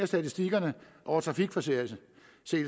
statistikkerne over trafikforseelser